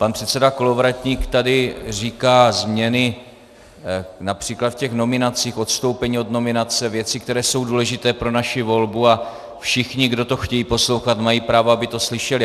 Pan předseda Kolovratník tady říká změny například v těch nominacích, odstoupení od nominace, věci, které jsou důležité pro naši volbu, a všichni, kdo to chtějí poslouchat, mají právo, aby to slyšeli.